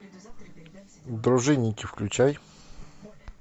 дружинники включай